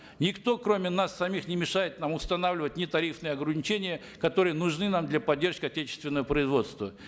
никто кроме нас самих не мешает нам устанавливать нетарифные органичения которые нужны нам для поддержки отечественного производства